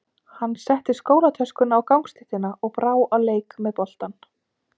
Hann setti skólatöskuna á gangstéttina og brá á leik með boltann.